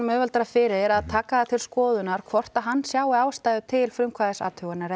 auðveldara fyrir að taka til skoðunar hvort að hann sjái ástæðu til frumkvæðisathugunar